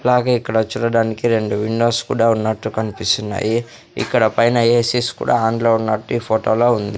అలాగే ఇక్కడ చూడడానికి రెండు విండోస్ కూడా ఉన్నట్లు కన్పిస్తున్నాయి ఇక్కడ పైన ఏసి స్ కూడా ఆన్ లో ఉన్నట్టు ఈ ఫోటోలో ఉంది.